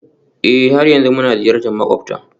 Ee, har yanzu muna ziyartar makwabta